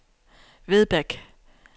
Vedbæk